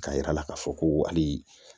K'a yira k'a fɔ ko hali